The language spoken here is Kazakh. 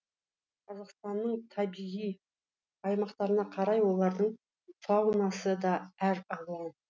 қазақстанның табиғи аймақтарына қарай олардың фаунасы да әр алуан